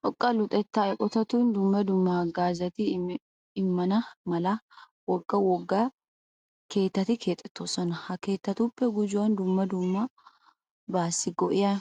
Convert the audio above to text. Xoqqa luxettaa eqotatun dumma dumma haggaazaa immana mala wogga wogga keettati keexettoosona. Ha keettatuppe gujuwan dumma dummabaassi go'iya